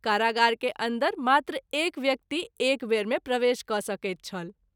कारागार के अन्दर मात्र एक व्यक्ति एकवेर मे प्रवेश क’ सकैत छल।